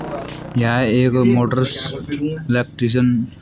यह एक motor electrician --